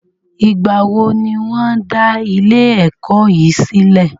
Ìgbà wo ní wọ́n dá ilé ẹ̀kọ́ yìí sílẹ̀?